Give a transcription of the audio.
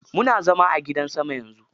Muna zama a gidan sama yanzu.